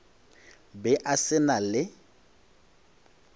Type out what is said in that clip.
be a se na le